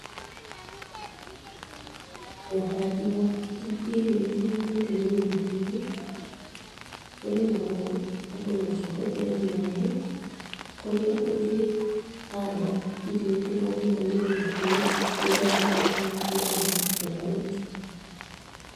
ũhandi wa irio itiganĩte mĩgũnda-inĩ ũrĩmagwo andũ makĩhũthĩra maĩ, kũrĩa ũngĩhanda irio itiganĩte mĩgũnda-inĩ nĩgetha ũkagĩa magetha tofauti.